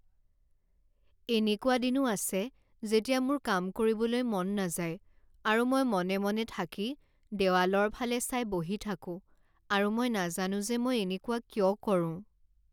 এনেকুৱা দিনো আছে যেতিয়া মোৰ কাম কৰিবলৈ মন নাযায় আৰু মই মনে মনে থাকি দেৱালৰ ফালে চাই বহি থাকো আৰু মই নাজানো যে মই এনেকুৱা কিয় কৰো।